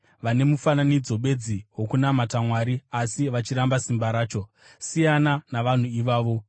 vane mufananidzo bedzi wokunamata Mwari asi vachiramba simba racho. Siyana navanhu ivavo.